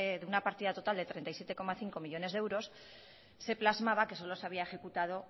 en una partida total de treinta y siete coma cinco millónes de euros se plasmaba que solo se había ejecutado